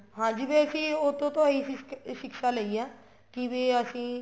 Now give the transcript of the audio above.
ਹਾਂਜੀ ਫ਼ੇਰ ਅਸੀਂ ਉਹ ਤੋ ਤਾਂ ਇਹੀ ਸਿਕ੍ਸਾ ਲਈ ਹੈ ਕੀ ਵੀ ਅਸੀਂ